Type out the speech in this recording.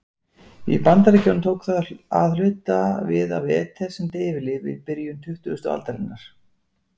Í Bandaríkjunum tók það að hluta við af eter sem deyfilyf í byrjun tuttugustu aldarinnar.